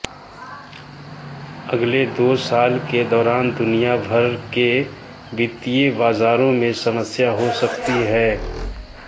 अगले दो साल के दौरान दुनियाभर के वित्तीय बाजारों में समस्याएं हो सकती हैं